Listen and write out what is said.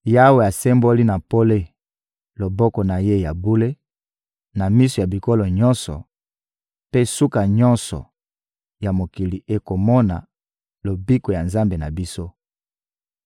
Yawe asemboli na pole loboko na Ye ya bule na miso ya bikolo nyonso; mpe suka nyonso ya mokili ekomona Lobiko ya Nzambe na biso.